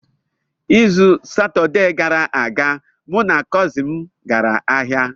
N’izu Satọde gara aga, mụ na kọzin m gara ahịa.